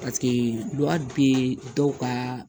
Paseke duwawu bɛ dɔw ka